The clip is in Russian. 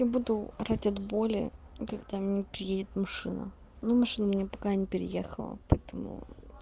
я буду орать от боли когда меня переедет машина ну машина меня пока не переехала по этому